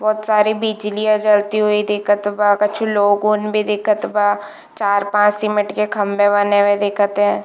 बहोत सारी बिजलियाँ जलती हुई दिखत बा कछु लोगोन भी दिखत बा चार पांच सीमेंट के खम्बे बने भी दिखत ए--